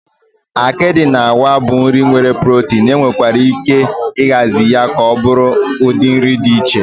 Akịdị na àgwà bụ nri nwere protin, enwekwara ike ịhazi ya ka ọ bụrụ ụdị nri dị iche iche.